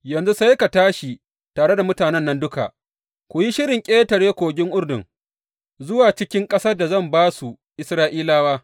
Yanzu sai ka tashi tare da mutanen nan duka, ku yi shirin ƙetare kogin Urdun zuwa cikin ƙasar da zan ba su Isra’ilawa.